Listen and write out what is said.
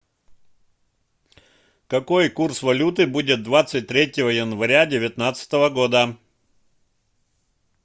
какой курс валюты будет двадцать третьего января девятнадцатого года